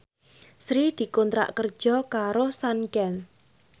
Sri dikontrak kerja karo Sanken